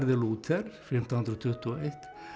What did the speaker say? Lúther fimmtán hundruð tuttugu og eitt